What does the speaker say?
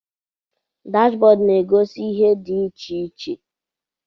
Dashbọd na-egosi ihe dị iche iche.